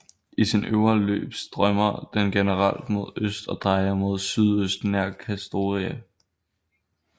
I sin øvre løb strømmer den generelt mod øst og drejer mod sydøst nær Kastoria